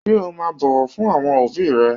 Ṣé o máa bọ̀wọ̀ fún àwọn òbíì rẹ?